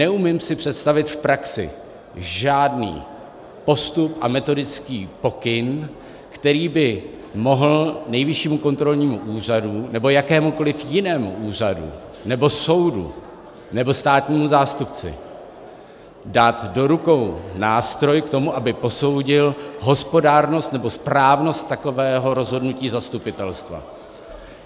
Neumím si představit v praxi žádný postup a metodický pokyn, který by mohl Nejvyššímu kontrolnímu úřadu nebo jakémukoliv jinému úřadu nebo soudu nebo státnímu zástupci dát do rukou nástroj k tomu, aby posoudil hospodárnost nebo správnost takového rozhodnutí zastupitelstva.